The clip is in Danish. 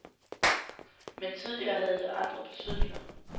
Men tidligere havde det andre betydninger.